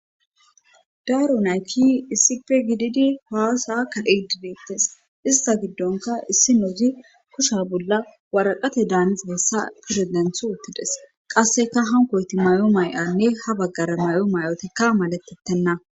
Daaru naykki issipe gididi haasaakka edideettes ista giddonka issi nouzi kusha bolla waraqate daaniza hessa piredenth uttides qasseka hankoyti may'o may'anne ha baggara may'o may'otekka maletettenna.